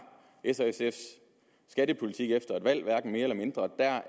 s og sfs skattepolitik efter et valg hverken mere eller mindre er